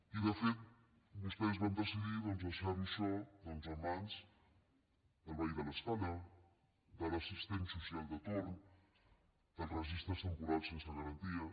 i de fet vostès van decidir doncs deixar ho això a mans del veí de l’escala de l’assistent social de torn dels registres temporals sense garanties